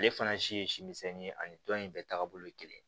Ale fana si ye si misɛnnin ye ani tɔn in bɛɛ taagabolo ye kelen ye